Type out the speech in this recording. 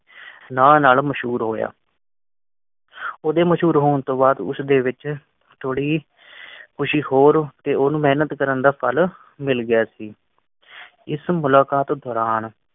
ਨਾਂ ਨਾਲ ਮਸ਼ਹੂਰ ਹੋਇਆ ਉਹਦੇ ਮਸ਼ਹੂਰ ਹੋਣ ਤੋਂ ਬਾਅਦ ਉਸ ਦੇ ਵਿੱਚ ਚੋਰ ਅਸੀਂ ਹੋਰ ਕਿਉਂ ਮਿਹਨਤ ਕਰਨ ਦਾ ਫਲ ਮਿਲ ਗਿਆ ਸੀ ਇਸ ਮੁਲਾਕਾਤ ਦੌਰਾਨ